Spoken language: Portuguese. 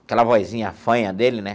Aquela vozinha fanha dele, né?